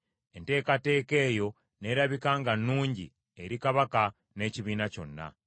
Enteekateeka eyo n’erabika nga nnungi eri kabaka n’ekibiina kyonna.